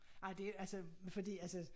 Ej det altså fordi altså